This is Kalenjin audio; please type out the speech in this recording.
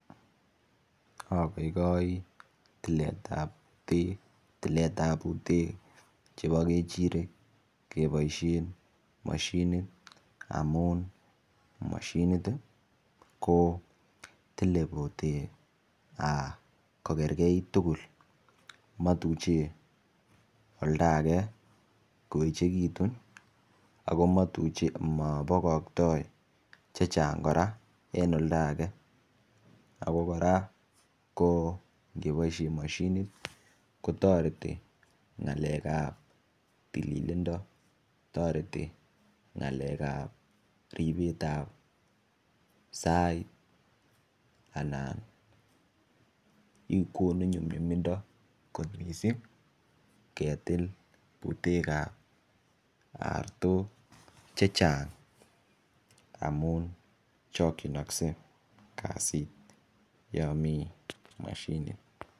Agoigoi tiletab buteek ab kechirek keboisien mashinit amun mashinit ii ko tile buteek kogergeit tugul motuche oldaege koechegitu ago motuche, mobokoktoi checheng' kora en oldaage, ako kora ng'eboisien mashinit kotoreti ng'alek ab tililindo, toreti ng'alekab ribet ab sait anan konu nyumnyumindo kot missing ketil buteek ab artok chechang' amun chokchinokse kasit yomi mashinit.